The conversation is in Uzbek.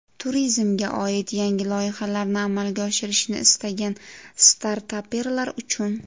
Turizmga oid yangi loyihalarni amalga oshirishni istagan startaperlar uchun .